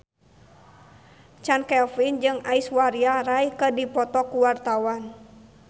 Chand Kelvin jeung Aishwarya Rai keur dipoto ku wartawan